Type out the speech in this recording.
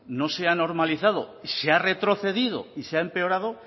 no se ha normalizado y se ha retrocedido y se ha empeorado